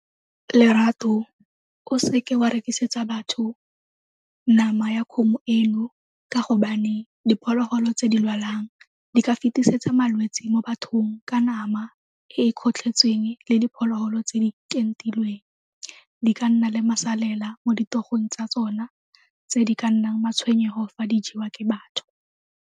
Lerato o seke wa rekisetsa batho nama ya kgomo eno ka gobane diphologolo tse di lwalang di ka fetisetsa malwetse mo bathong ka nama e e kgotlhetsweng le diphologolo tse di ka kentilweng, di ka nna le masalela mo ditogong tsa tsona tse di ka nnang matshwenyego fa di jewa ke batho.